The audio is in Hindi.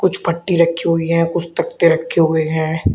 कुछ पट्टी रखी हुई है कुछ तख्ते के रखे हुए हैं।